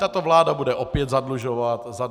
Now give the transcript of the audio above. Tato vláda bude opět zadlužovat stát.